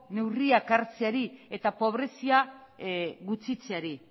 neurriak hartzeari eta pobrezia gutxitzeari